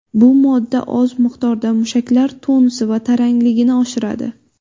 Bu modda oz miqdorda mushaklar tonusi va tarangligini oshiradi.